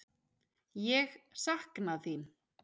Ég sakna þín.